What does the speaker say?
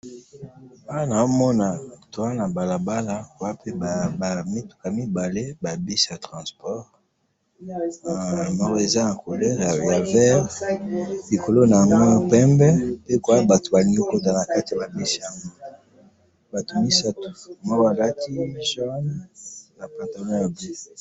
awa nazomona toza na balabala, ba mituka mibale, ba bus ya transports, moko eza na couleur ya vert, likolo na yango pembe, pe batu balingi kokota nakati yaba bus yango, batu misatu, moko alati jaune na pantalon ya jeans